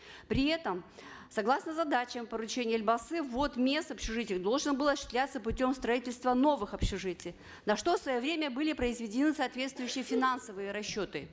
при этом согласно задачам поручения елбасы ввод мест в общежитиях должен был осуществляться путем строительства новых общежитий на что в свое время были произведены соответствующие финансовые расчеты